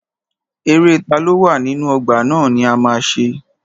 Eré taló wà nínú ọgbà ná ni a ma ṣe.